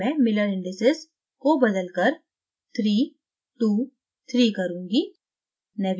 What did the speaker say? अब मैं miller indices को बदलकर 323 करुँगी